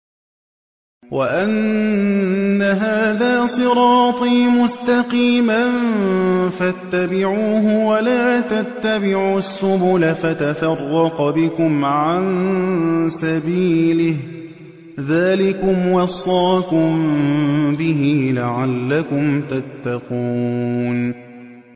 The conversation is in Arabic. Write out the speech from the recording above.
وَأَنَّ هَٰذَا صِرَاطِي مُسْتَقِيمًا فَاتَّبِعُوهُ ۖ وَلَا تَتَّبِعُوا السُّبُلَ فَتَفَرَّقَ بِكُمْ عَن سَبِيلِهِ ۚ ذَٰلِكُمْ وَصَّاكُم بِهِ لَعَلَّكُمْ تَتَّقُونَ